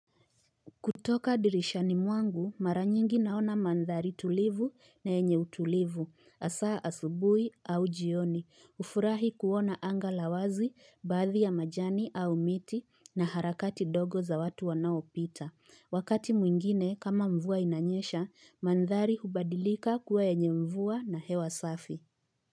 Kutoka dirishani mwangu mara mingi naona mandhari tulivu na yenye utulivu hasa asubuhi au jioni hufurahi kuona anga la wazi baadhi ya majani au miti na harakati dogo za watu wanaopita. Wakati mwingine kama mvua inanyeshanmandhari hubadilika kuwa yenye mvua na hewa safi.